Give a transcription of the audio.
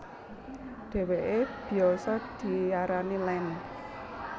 Dheweke biyasa diarani Land